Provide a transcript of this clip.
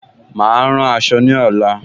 Mà á rán aṣọ ní ọ̀la